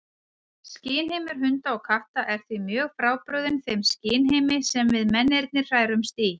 Skynheimur hunda og katta er því mjög frábrugðinn þeim skynheimi sem við mennirnir hrærumst í.